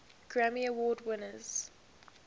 grammy award winners